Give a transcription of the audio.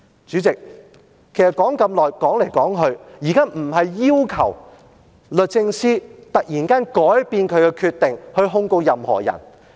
主席，說了這麼久，其實現在不是要求律政司突然改變決定，去控告任何人。